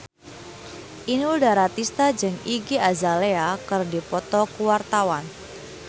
Inul Daratista jeung Iggy Azalea keur dipoto ku wartawan